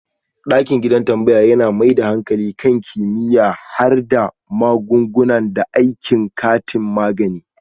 Dakiɗin gidan tambaya yana mai da hankali kan kimiyyar harhada magunguna da aikin kantin magani.